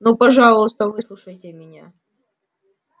ну пожалуйста выслушайте меня